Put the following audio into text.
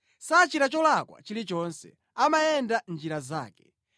Sachita cholakwa chilichonse; amayenda mʼnjira zake.